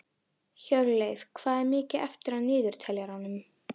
Hjörleif, hvað er mikið eftir af niðurteljaranum?